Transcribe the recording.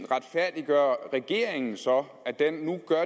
retfærdiggør regeringen så at den nu gør